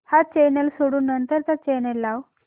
हा चॅनल सोडून नंतर चा चॅनल लाव